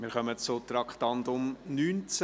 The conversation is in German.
Wir kommen zum Traktandum 19: